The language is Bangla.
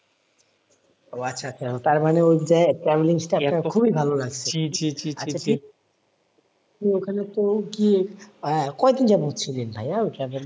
ও আচ্ছা আচ্ছা তারমানে ওই যে traveling টা আপনার খুবই ভালো লাগছে আপনি ওখানে তো কি আহ কয়দিন যাবত ছিলেন ভাইয়া ওইখানে?